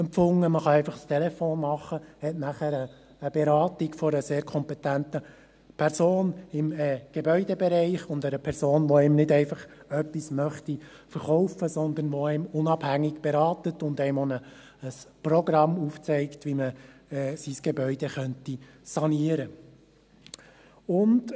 Man kann einfach ein Telefonat machen und hat danach eine Beratung durch eine im Gebäudebereich sehr kompetente Person – eine Person, die einem nicht einfach etwas verkaufen möchte, sondern die einen unabhängig berät und auch ein Programm aufzeigt, wie man sein Gebäude sanieren könnte.